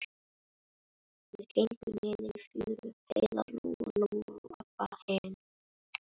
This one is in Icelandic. Þær gengu niður í fjöru, Heiða, Lóa Lóa og Abba hin.